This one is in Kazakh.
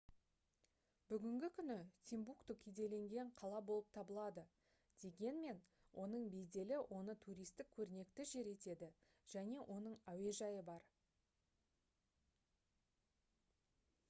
бүгінгі күні тимбукту кедейленген қала болып табылады дегенмен оның беделі оны туристік көрнекті жер етеді және оның әуежайы бар